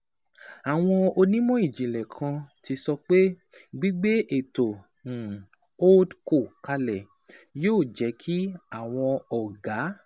Àwọn onímọ̀ ìjìnlẹ̀ kan ti sọ pé gbígbé ètò um HoldCo kalẹ̀ yóò jẹ́ kí àwọn ọ̀gá